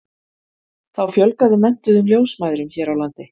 þá fjölgaði menntuðum ljósmæðrum hér á landi